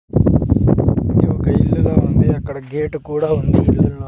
ఇది ఒక ఇల్లులా ఉంది అక్కడ గేటు కూడా ఉంది --